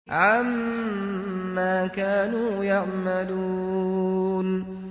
عَمَّا كَانُوا يَعْمَلُونَ